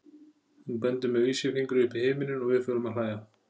Hún bendir með vísifingri upp í himininn og við förum að hlæja.